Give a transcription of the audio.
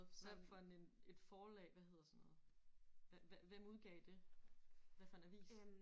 Hvad for en et forlag hvad hedder sådan noget hvad hvad hvem udgav det hvad for en avis?